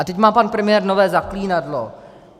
A teď má pan premiér nové zaklínadlo.